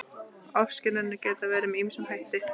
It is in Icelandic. Ofskynjanir geta verið með ýmsum hætti.